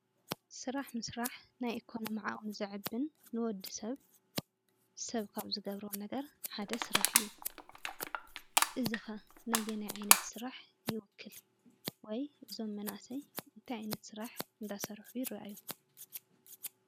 ስራሕ ምስራሕ ናይ ኢኮኖሚ ዓቕሚ ዘዕብን ንወዲ ሰብ ሰብ ካብ ዝገብሮም ነገር ሓደ ስራሕ እዩ። እዚ ኸ ነየናይ ዓይነት ስራሕ ይውክል? ወይ እዞም መናእሰይ እንታይ ዓይነት ስራሕ እናሰርሑ ይርኣዩ?